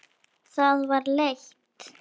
Það var leitt.